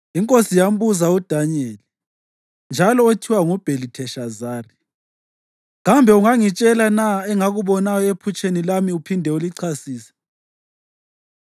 Inkosi yambuza uDanyeli (njalo othiwa nguBhelitheshazari), “Kambe ungangitshela na engakubonayo ephutsheni lami uphinde ulichasise?”